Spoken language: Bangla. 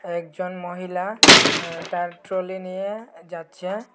একজন মহিলা আঁ তার ট্রলি নিয়ে যাচ্ছে।